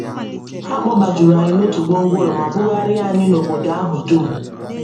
Ha kpọbajuru anyị n’otu gwongworo ma bugharịa anyị n’obodo ahụ dum.